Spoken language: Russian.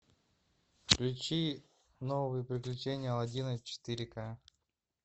включи новые приключения аладдина четыре ка